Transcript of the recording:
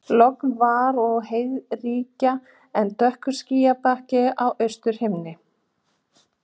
Logn var og heiðríkja en dökkur skýjabakki á austurhimni.